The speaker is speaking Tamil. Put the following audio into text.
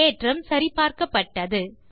தேற்றம் சரி பார்க்கப்பட்டது